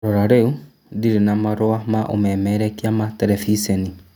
Rora rĩu, ndirĩ na marũa ma ũmemerekia ma terebiceni